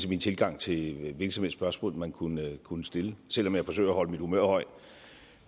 min tilgang til hvilket som helst spørgsmål man kunne kunne stille selv om jeg forsøger at holde humøret højt